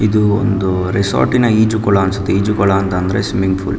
ಇದು ಒಂದು ರೆಸಾರ್ಟ್ ನಈಜು ಈಜು ಕೋಳ ಅನ್ಸುತ್ತೆ ಈಜು ಕೋಳ ಅಂದ್ರೆ ಸ್ವಿಮ್ಮಿಂಗ್ಫುಲ್ .